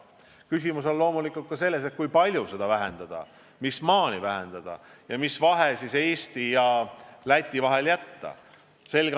Küsimus on loomulikult ka selles, kui palju seda vähendada, mis maani seda vähendada ja mis vahe Eesti ja Läti aktsiisidel võiks olla.